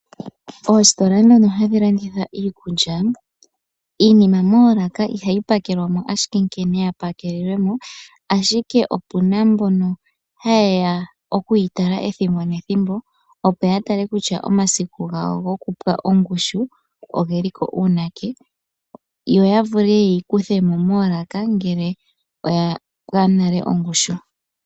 Oositola ndhono hadhi landitha iikulya, iinima moolaka ihayi pakelwa mo shike nkene ya pakelelwe mo, ashike opu na mbono haye ya okuyi tala ethimbo nethimbo, opo ya tale kutya omasiku gawo gokufelefala oge li ko uunake, yo ya vule okuyi kutha mo moolaka ngele oya felefala.